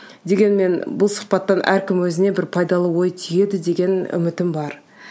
дегенмен бұл сұхбаттан әркім өзіне бір пайдалы ой түйеді деген үмітім бар